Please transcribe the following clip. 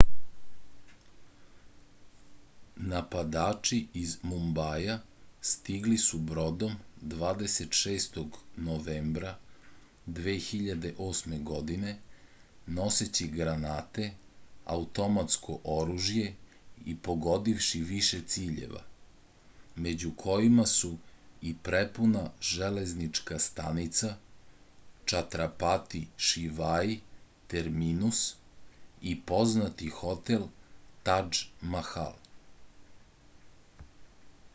napadači iz mumbaja stigli su brodom 26. novembra 2008. godine noseći granate automatsko oružje i pogodivši više ciljeva među kojima su i prepuna železnička stanica čatrapati šivaji terminus i poznati hotel tadž mahal